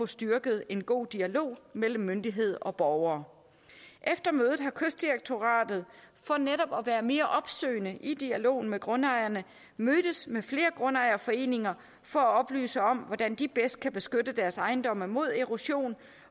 styrke en god dialog mellem myndigheder og borgere efter mødet har kystdirektoratet for netop at være mere opsøgende i dialogen med grundejerne mødtes med flere grundejerforeninger for at oplyse om hvordan de bedst kan beskytte deres ejendomme mod erosion